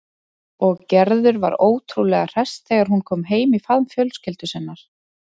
Og Gerður var ótrúlega hress þegar hún kom heim í faðm fjölskyldu sinnar.